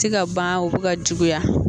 Ti ka ban u bi ka juguya